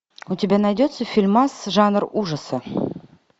у тебя найдется фильмас жанр ужаса